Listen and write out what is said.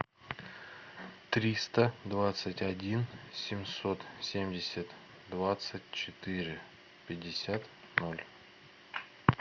триста двадцать один семьсот семьдесят двадцать четыре пятьдесят ноль